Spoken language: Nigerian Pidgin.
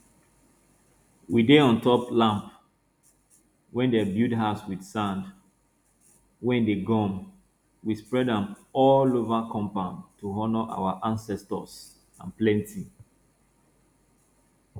we dey on top lamp wey dem build with sand wey dey gum we spread am all over compound to honor our ancestors and plenty